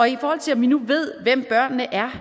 i forhold til at vi nu ved hvem børnene er